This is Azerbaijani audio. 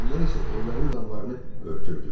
Oğlanlar isə evlərin damlarını örtürdülər.